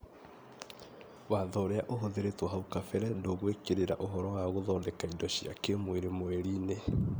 Watho ũrĩa ũhũthĩrĩtwo hau kabere ndũgwĩkĩrĩra ũhoro wa gũthondeka indo cia kĩĩmwĩrĩ Mweri-inĩ,